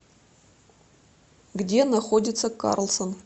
где находится карлсон